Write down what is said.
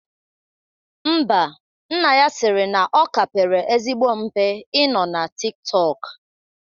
Ḿbà, nna ya sịrị na ọ ka pere ezigbo mpe ị nọ na Tik tọk